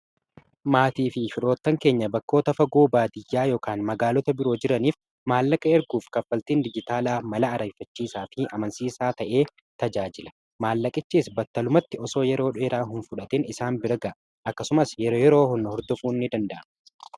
Maatii fi firoottan keenya bakkoota fagoo baadiyyaa yk magaalota biroo jiraniif maallaqa erguuf kaffaltiin dijitaalaa mala ariiffachiisaa fi amansiiisaa ta'een tajaajila maallaqichiis battalumatti osoo yeroo dheeraa hin fudhatin isaan bira ga'a akkasumas yeroo hunda hordofuu ni danda'ama.